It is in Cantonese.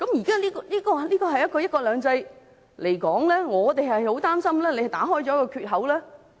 就"一國兩制"而言，我們很擔心政府打開了缺口。